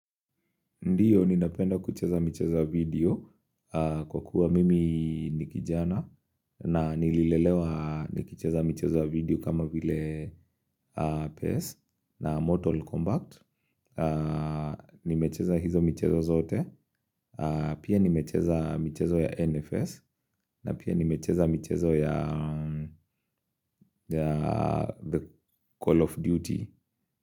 Ndio, ninapenda kucheza michezo ya video kwa kuwa mimi ni kijana na nililelewa nikicheza michezo ya video kama vile PACE na Mortal Kombat. Nimecheza hizo michezo zote, pia nimecheza michezo ya NFS na pia nimecheza michezo ya The Call of Duty.